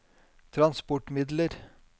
transportmidler